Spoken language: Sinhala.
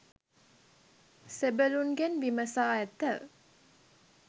සෙබළුන්ගෙන් විමසා ඇත.